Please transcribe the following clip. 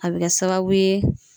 A be kɛ sababu ye